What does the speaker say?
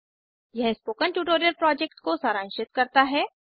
यह spoken tutorial project को सारांशित करता है